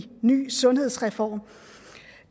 ny sundhedsreform